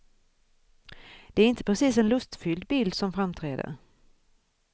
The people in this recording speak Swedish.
Det är inte precis en lustfylld bild som framträder.